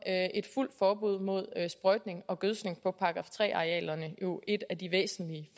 et fuldt forbud mod sprøjtning og gødskning på § tre arealerne jo et af de væsentlige